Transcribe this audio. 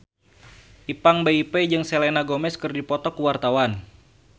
Ipank BIP jeung Selena Gomez keur dipoto ku wartawan